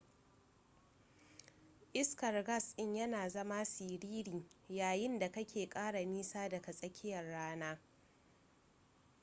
iskar gas in yana zama siriri yayin da kake kara nisa daga tsakiyar rana